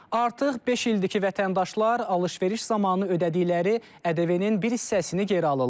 Artıq beş ildir ki, vətəndaşlar alış-veriş zamanı ödədikləri ƏDV-nin bir hissəsini geri alırlar.